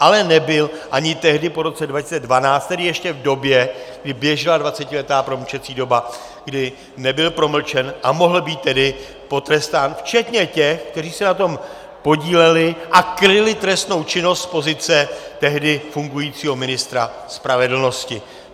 Ale nebyl, ani tehdy po roce 2012, tedy ještě v době, kdy běžela dvacetiletá promlčecí doba, kdy nebyl promlčen, a mohl být tedy potrestán včetně těch, kteří se na tom podíleli a kryli trestnou činnost z pozice tehdy fungujícího ministra spravedlnosti.